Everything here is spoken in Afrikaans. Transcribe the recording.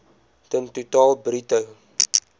ton totaal bruto